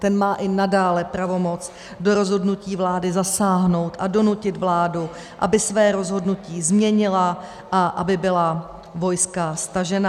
Ten má i nadále pravomoc do rozhodnutí vlády zasáhnout a donutit vládu, aby své rozhodnutí změnila a aby byla vojska stažena.